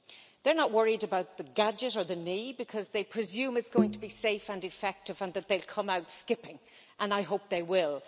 They are not worried about the gadget, or the knee, because they presume it is going to be safe and effective, and that they will come out skipping, and I hope they will.